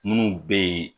Minnu bɛ yen